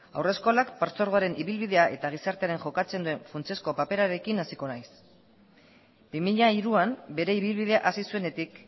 haurreskolak partzuergoaren ibilbidea eta gizartean jokatzen duen funtsezko paperarekin hasiko naiz bi mila hiruan bere ibilbidea hasi zuenetik